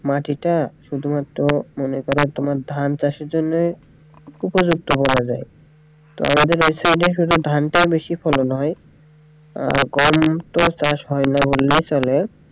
মাটিটা শুধুমাত্র মনে করেন তোমার ধান চাষের জন্যে উপযুক্ত বলা যায় তো আমাদের এই কারনে শুধু ধানটা বেশি ফলন হয় আর গম তো চাষ হয়না বললেই চলে।